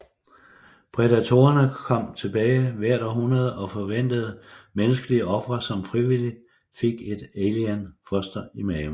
Predatorene kom tilbage hvert århundrede og forventede menneskelige ofre som frivilligt fik et Alien foster i maven